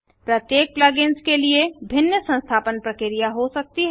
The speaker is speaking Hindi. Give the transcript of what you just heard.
प्रत्येक plug इन्स के लिए भिन्न संस्थापन प्रक्रिया हो सकती है